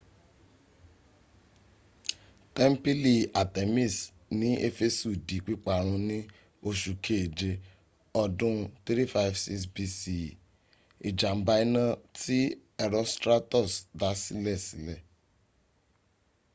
tẹ́ḿpìlì artemis ní éfésù di pípa run ní oṣù keje ọdún 356 bce ìjàmbá iná tí herostratus dá silesílè